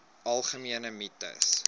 algemene mites